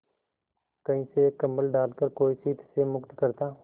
कहीं से एक कंबल डालकर कोई शीत से मुक्त करता